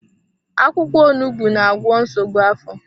Akwụkwọ onugbu na-agwọ nsogbu afọ.